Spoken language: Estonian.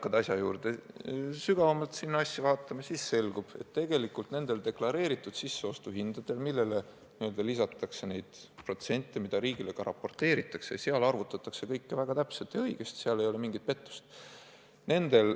Kui hakkad asja sügavamalt vaatama, siis selgub, et tegelikult need deklareeritud sisseostuhinnad, millele lisatakse neid protsente ja mida riigile ka raporteeritakse, arvutatakse kõik väga täpselt ja õigesti, seal ei ole mingi pettust.